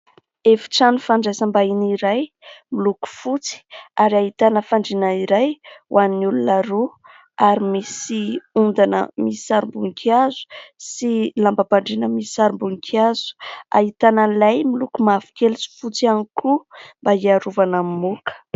Efitrano fandraisam-bahiny iray, miloko fotsy; ary ahitana fandriana iray, ho an'ny olona roa. Ary misy ondana misy sarim-boninkazo; sy lambam-pandriana misy sarim-boninkazo; ahitana lay miloko mavokely sy fotsy ihany koa mba hiarovana amin'ny moka.